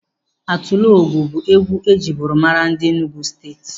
Atilogwu bụ egwu ejiburu mara ndị Enugu Steeti.